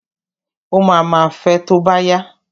Ó ma ma fẹ tó bá yá.